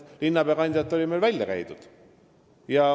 Linnapeakandidaat oli meil välja käidud.